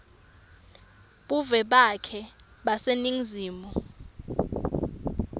buve bakhe baseningizimu